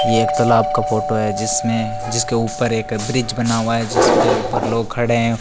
ये एक तालाब का फोटो है जिसमें जिसके ऊपर एक ब्रिज बना हुआ है जिसके ऊपर लोग खड़े हैं।